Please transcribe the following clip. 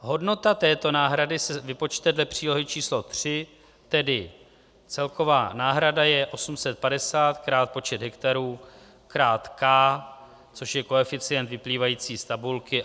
Hodnota této náhrady se vypočte dle přílohy č. 3, tedy celková náhrada je 850 krát počet hektarů krát k, což je koeficient vyplývající z tabulky.